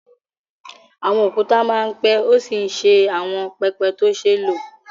Àwọn òkúta máa ń pẹ́ ó sì ń ṣe àwọn pẹpẹ tó ṣe é lò